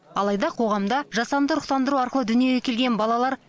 алайда қоғамда жасанды ұрықтандыру арқылы дүниеге келген балалар